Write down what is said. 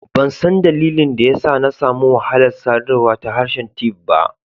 Ban san dalilin daya sa n'na samu wahala sadarwa da harshen Tiv ba.